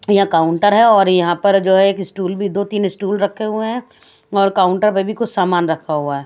ये काउंटर है और यहाँ पर जो है एक स्टूल भी दो तीन स्टूल रखे हुए है और काउंटर में भी कुछ सामान रखा हुआ है।